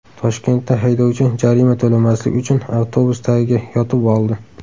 Toshkentda haydovchi jarima to‘lamaslik uchun avtobus tagiga yotib oldi .